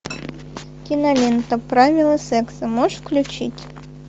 кинолента правила секса можешь включить